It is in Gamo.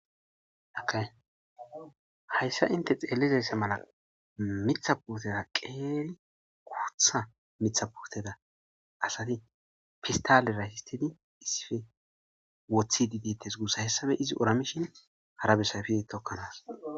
akay hayssa inte xeellizese mala mitha puuteda qeeli quutha mitha puteda asati fistale rayshistedi issife woththi di dites gussa hessafe izi oramishin hara besayfi tokkanas